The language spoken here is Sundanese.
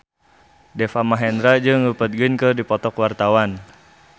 Deva Mahendra jeung Rupert Grin keur dipoto ku wartawan